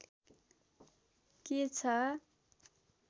के छ